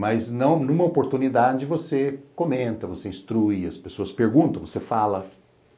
Mas numa oportunidade você comenta, você instrui, as pessoas perguntam, você fala.